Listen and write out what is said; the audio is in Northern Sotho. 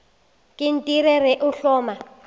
ke nt re o hloma